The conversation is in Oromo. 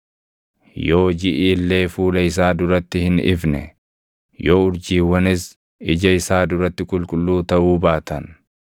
Yoo jiʼi illee fuula isaa duratti hin ifne, yoo urjiiwwanis ija isaa duratti qulqulluu taʼuu baatan,